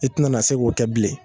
I ti na na se k'o kɛ bilen.